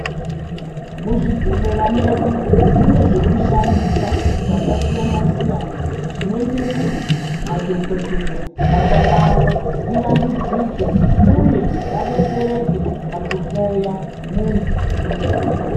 Muzvibhedhlera medu mune zvekushandisa zvakasiyana siyana zvinoite kuti madhokodheya basa ravo rivandudzike uye vadetsereke pakuhloya mundu une chitenda.